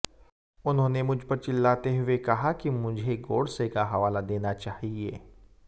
उन्होंने मुझपर चिल्लाते हुए कहा कि मुझे गोडसे का हवाला देना चाहिए